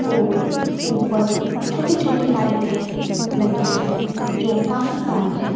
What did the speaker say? और ऊपर छोटी छोटी लाइटें लगी हैं जो काफी सारी हैं।